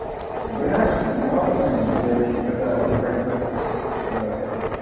я понимаю что это модно и девочки пытаются как-то